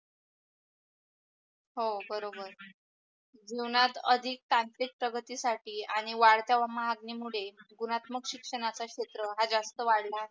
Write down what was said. जीवनात अधिक तांत्रित प्रगतीसाठी आणि वडत्या मागणीमूळे गुणात्मक शिक्षणाचा क्षेत्र हे जास्त वाळला आहे.